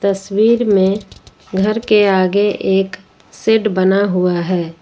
तस्वीर में घर के आगे एक शेड बना हुआ है।